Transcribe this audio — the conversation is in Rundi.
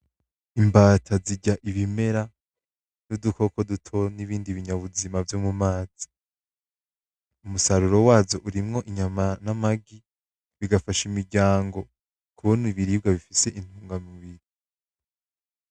Imbata zirya ibimera n’udukoko dutoyan’ibindi binyabuzima vyo mu mazi umusaroru wazo harimwo inyama, n’amagi ,bigafasha imiryago